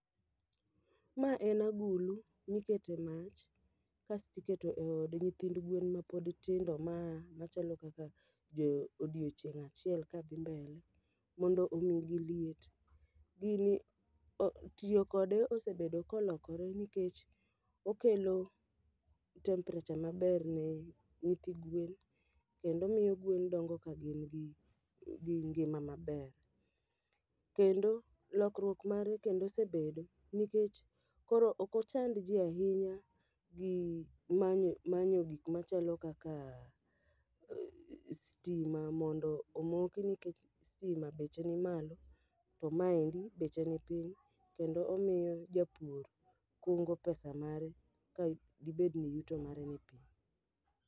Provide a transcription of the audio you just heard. Ma en agulu, mikete mach kasti keto e od nyithind gwen ma pod tindo machalo kaka jo odiochieng' achiel kadhi mbele, mondo omigi liet. Gini o tiyo kode osebedo kolokore nikech okelo temperature maber ne nyithi gwen, kendo omiyo gwen dongo ka gin gi ngima maber. Kendo, lokruok mare kendo osebedo nikech koro okochand ji ahinya gi manyo manyo gik machalo kaka stima mondo omoki nikech stima beche ni malo. To ma endi beche ni piny kendo omiyo japur kungo pesa mare ka dibed ni yuto mare ni piny.